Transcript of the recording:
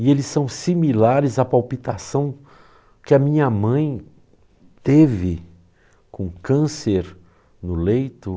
E eles são similares à palpitação que a minha mãe teve com câncer no leito.